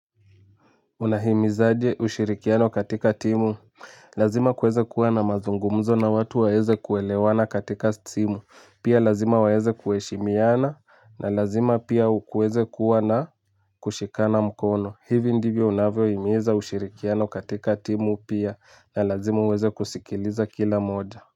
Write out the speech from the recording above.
Unahimiza aje ushirikiano katika timu, lazima kuweze kuwa na mazungumzo na watu waweze kuelewana katika simu, pia lazima waweze kuheshimiana na lazima pia kuweze kuwa na kushikana mkono, hivi ndivyo unavyohimiza ushirikiano katika timu pia na lazima uweze kusikiliza kila moja.